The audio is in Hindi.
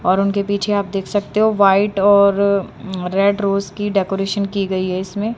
और उनके पीछे आप देख सकते हो व्हाइट और रेड रोज की डेकोरेशन की गई है इसमें।